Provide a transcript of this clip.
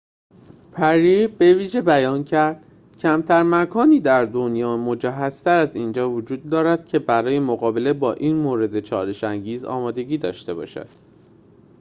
پری بویژه بیان کرد کمتر مکانی در دنیا مجهزتر از اینجا وجود دارد که برای مقابله با این مورد چالش‌انگیز آمادگی داشته باشد